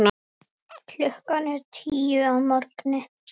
Klukkan er tíu að morgni.